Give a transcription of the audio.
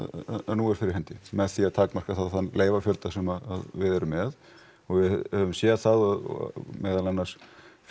nú er fyrir hendi með því þá að takmarka þann leyfafjölda sem við erum með og við höfum séð það og meðal annars